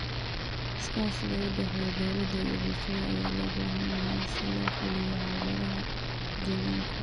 Iskaashiga u dhexeeya dowladda iyo bulshada ayaa loo baahan yahay si loo xalliyo caqabadaha deegaanka.